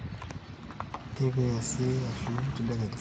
teipa eesi ashu tendadekenya